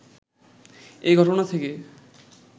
এ ঘটনা থেকে